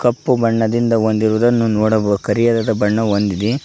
ಕಪ್ಪು ಬಣ್ಣದಿಂದ ಹೊಂದಿರುವುದನ್ನು ನೋಡಬಹು ಕರಿಯ ದಾದಾ ಬಣ್ಣ ಬಂದಿದೆ.